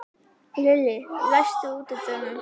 Lilli, læstu útidyrunum.